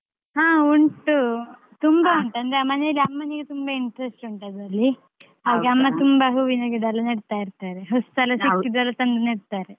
ಹಾ ಉಂಟು. ತುಂಬಾ ಅಂದ್ರೆ ಮನೆಯಲ್ಲಿ ಅಮ್ಮನಿಗೆ ತುಂಬಾ interest ಉಂಟು ಅದ್ರಲ್ಲಿ. ಅಮ್ಮ ತುಂಬಾ ಹೂವಿನ ಗಿಡಯೆಲ್ಲಾ ನೆಡ್ತಾಯಿರ್ತಾರೆ ಹೊಸ್ದೆಲ್ಲ ತಂದು ನೆಡ್ತಾರೆ.